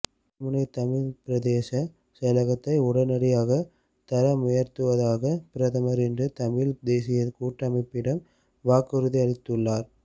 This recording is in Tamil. கல்முனை தமிழ் பிரதேச செயலகத்தை உடனடியாக தரமுயர்த்துவதாக பிரதமர் இன்று தமிழ் தேசிய கூட்டமைப்பிடம் வாக்குறுதியளித்துள்ளார்